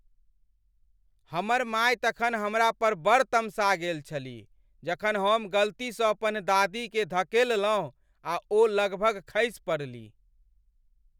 हमर माय तखन हमरा पर बड़ तमसा गेल छलीह जखन हम गलतीसँ अपन दादीकेँ धकेललहुँ आ ओ लगभग खसि पड़लीह।